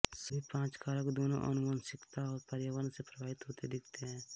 सभी पांच कारक दोनों आनुवंशिकता और पर्यावरण से प्रभावित होते दिखते हैं